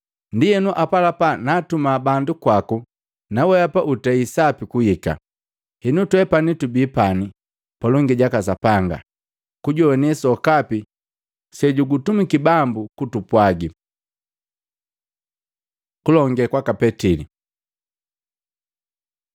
Ndienu apalapa naatuma bandu kwaku, naweapa utei sapi kuhika. Henu, twepani tubi pani palongi jaka Sapanga kujoane sokapi sejukutumiki Bambu kutupwagi.” Kulonge kwaka Petili